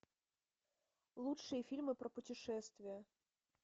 лучшие фильмы про путешествия